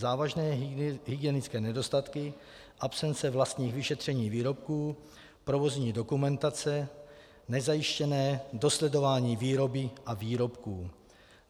Závažné hygienické nedostatky, absence vlastních vyšetření výrobků, provozní dokumentace, nezajištěné dosledování výroby a výrobků.